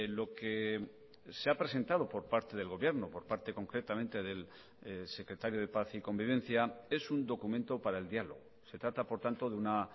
lo que se ha presentado por parte del gobierno por parte concretamente del secretario de paz y convivencia es un documento para el diálogo se trata por tanto de una